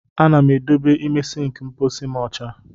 A na m edobe ime sịnkị mkpọsi m ọcha.